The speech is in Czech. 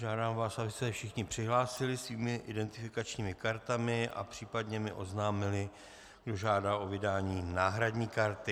Žádám vás, abyste se všichni přihlásili svými identifikačními kartami a případně mi oznámili, kdo žádá o vydání náhradní karty.